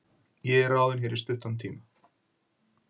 Ég er ráðinn hér í stuttan tíma.